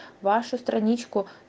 вашу страничку